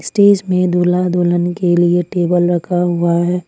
Stage में दूल्हा दुल्हन के लिए टेबल रखा हुआ है।